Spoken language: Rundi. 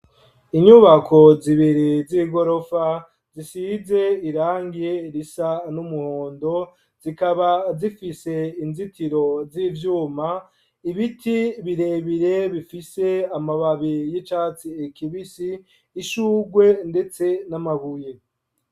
Inyubako zibiri z'igorofa ,zisize irangi risa n'umuhondo ,zikaba zifise inzitiro z'ivyuma, ibiti birebire bifise amababi y'icatsi kibisi ,ishurwe ndetse n'amabuye.